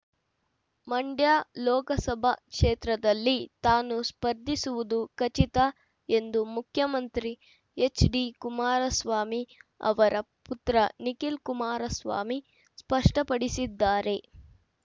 ಮಂಡ್ಯ ಲೋಕಸಭಾ ಕ್ಷೇತ್ರದಲ್ಲಿ ತಾನು ಸ್ಪರ್ಧಿಸುವುದು ಖಚಿತ ಎಂದು ಮುಖ್ಯಮಂತ್ರಿ ಎಚ್‌ಡಿಕುಮಾರಸ್ವಾಮಿ ಅವರ ಪುತ್ರ ನಿಖಿಲ್‌ ಕುಮಾರಸ್ವಾಮಿ ಸ್ಪಷ್ಟಪಡಿಸಿದ್ದಾರೆ